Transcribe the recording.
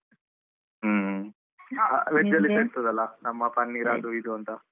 ಹ್ಮ್ ಹ್ಮ veg ಅಲ್ಲಿಸಾ ಇರ್ತದಲ್ಲ, ನಮ್ಮ ಪನ್ನೀರ್ ಅದು ಇದು ಅಂತ.